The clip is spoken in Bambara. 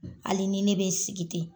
Hali ni ne be sigi ten